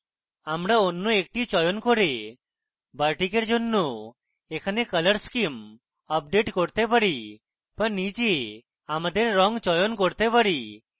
আমরা অন্য একটি চয়ন করে bartik we জন্য এখানে colour scheme আপডেট করতে পারি বা নিজে আমাদের or চয়ন করতে পারি